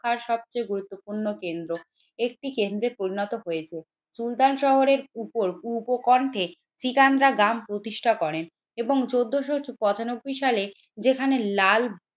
আর সবচেয়ে গুরুত্বপূর্ণ কেন্দ্র একটি কেন্দ্রে পরিণত হয়েছে। সুলতান শহরের উপর উপকণ্ঠে সিকান্দা গ্রাম প্রতিষ্ঠা করেন এবং চোদ্দোশো পঁচানব্বই সালে যেখানে লাল